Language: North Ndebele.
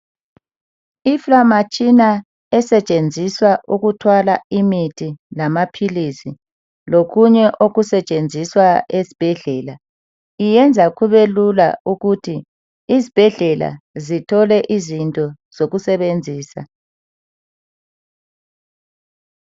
Iframatshina esetshenziswa ukuthwala imithi lamaphilizi lokunye okusetshenziswa esibhedlela iyenza kube lula ukuthi izibhedlela zithole izinto zokusebenzisa